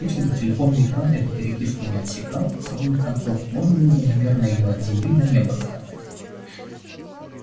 если бы телефонный экран эту переписку не отсекал с обоих концов можно было бы наверное её от земли до неба раскатать